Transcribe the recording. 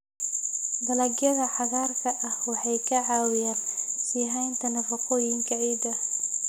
Dalagyada cagaarka ah waxay ka caawiyaan sii haynta nafaqooyinka ciidda.